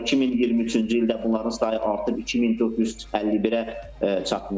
Sonra 2023-cü ildə bunların sayı artıb 2451-ə çatmışdı.